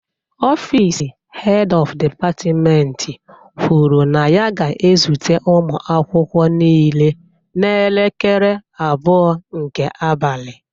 Ọfịs Head of Department kwuru na ya ga-ezute ụmụ akwụkwọ niile n'elekere abụọ nke abalị